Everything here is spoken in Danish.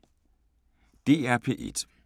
DR P1